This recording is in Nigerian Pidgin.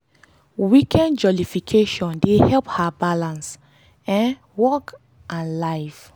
weekend jollification dey help her balance um work and life.